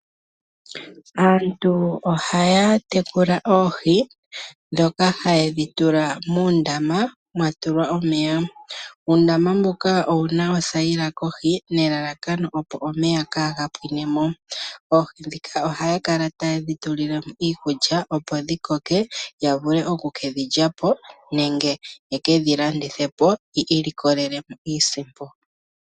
Aantu oha ya tekula oohi ndhoka ha ye dhitula muundama mwatulwa omeya. Uundama mbuka owuna othayila kohi nelalakano opo omeya kaa ga pwinemo. Oohi oha ya kala ta ye dhitulilemo iikulya opo dhi koke, yavule oku ke dhilyapo nenge ye kedhi landithepo yi ilikolelemo iisimpo.